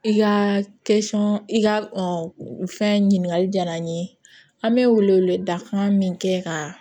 I ka i ka fɛn ɲininkali diyara an ye an bɛ wele wele dakan min kɛ ka